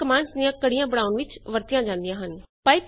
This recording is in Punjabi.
ਪਾਈਪਸ ਕਮਾਂਡਜ਼ ਦੀਆਂ ਕੜੀਆਂ ਬਣਾਉਣ ਲਈ ਵਰਤੀਆਂ ਜਾਂਦੀਆਂ ਹਨ